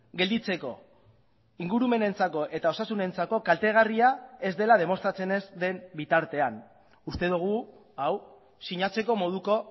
gelditzeko ingurumenentzako eta osasunentzako kaltegarria ez dela demostratzen ez den bitartean uste dugu hau sinatzeko moduko